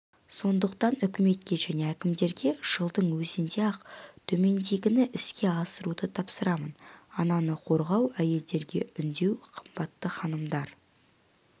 сондықтан үкіметке және әкімдерге жылдың өзінде-ақ төмендегіні іске асыруды тапсырамын ананы қорғау әйелдерге үндеу қымбатты ханымдар